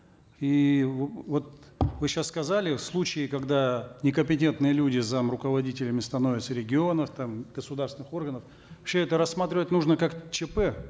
и вот вы сейчас сказали случаи когда некомпетентные люди зам руководителями становятся регионов там государственных органов вообще это рассматривать нужно как чп